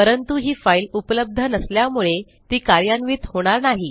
परंतु ही फाईल उपलब्ध नसल्यामुळे ती कार्यान्वित होणार नाही